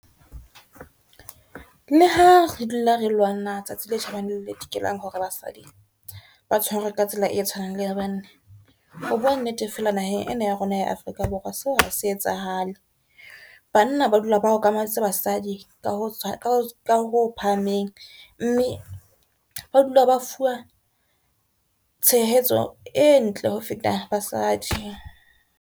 Le ha re dula re lwana tsatsi le tjhabang le le dikelang hore basadi ba tshwarwe ka tsela e tshwanang le ya bana. Ho bua nnete fela naheng ena ya rona ya Afrika Borwa seo ha se etsahale, banna ba dula ba okametse basadi ka ho phahameng, mme ba dula ba fuwa tshehetso e ntle ho feta basadi.